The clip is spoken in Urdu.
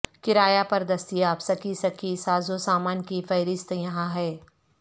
کرایہ پر دستیاب سکی سکی سازوسامان کی فہرست یہاں ہے